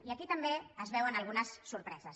i aquí també es veuen algunes sorpreses